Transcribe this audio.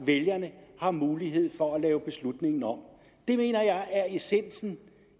vælgerne har mulighed for at lave beslutningen om det mener jeg er essensen